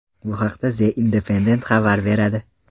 Bu haqda The Independent xabar beradi.